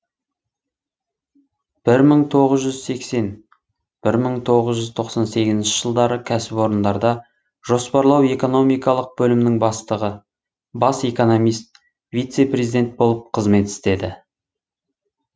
бір мың тоғыз жүз сексен бір мың тоғыз жүз тоқсан сегізінші жылдары кәсіпорындарда жоспарлау экономикалық бөлімінің бастығы бас экономист вице президент болып қызмет істеді